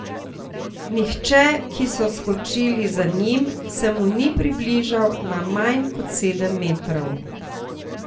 Nihče, ki so skočili za njim, se mu ni približal na manj kot sedem metrov.